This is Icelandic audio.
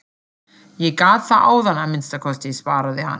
Ég gat það áðan að minnsta kosti, svaraði hann.